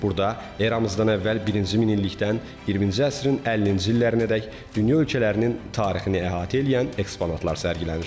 Burada eramızdan əvvəl birinci minillikdən 20-ci əsrin 50-ci illərinədək dünya ölkələrinin tarixini əhatə eləyən eksponatlar sərgilənir.